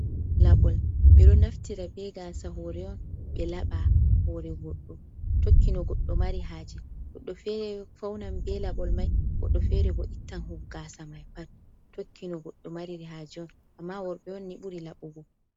Labol ɓeɗo naftira be gasa hore on ɓe laɓa hore do tokkino goddo mari haje, goɗɗo fere faunan be laɓol mai godɗo fere bo ittan gasa mai pat, tokki no goɗɗo mariri haje on amma worɓe wonni buri laɓugo.